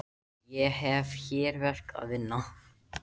Ég hef hér verk að vinna.